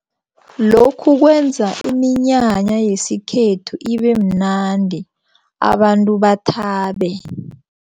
Lokhu kwenza iminyanya yesikhethu ibemnandi abantu bathabe.